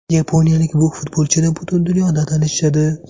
Yaponiyalik bu futbolchini butun dunyoda tanishadi.